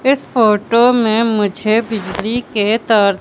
इस फोटो में मुझे बिजली के तार--